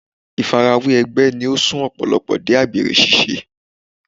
Fífarawé ẹgbẹ́ ni ó sún Ọ̀pọ̀lọ́pọ̀ dé àgbèrè ṣíṣe.